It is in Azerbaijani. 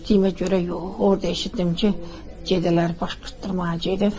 Eşitdiyimə görə yox, orda eşitdim ki, gedənləri baş qırdırmağa gedib.